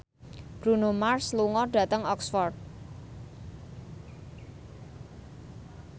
Bruno Mars lunga dhateng Oxford